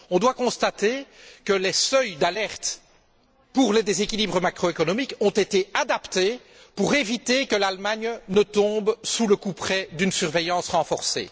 On doit constater que les seuils d'alerte pour les déséquilibres macro économiques ont été adaptés pour éviter que l'Allemagne ne tombe sous le couperet d'une surveillance renforcée.